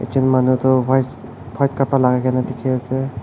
etu manu tu white white kapra logai ke ni dikhi ase.